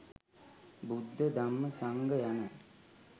බුද්ධ, ධම්ම, සංඝ යන